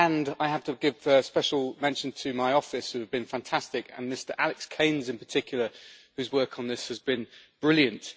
I have to give special mention to my office who have been fantastic, and Mr Alex Keynes, in particular, whose work on this has been brilliant.